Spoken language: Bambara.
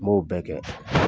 N m'o bɛ kɛ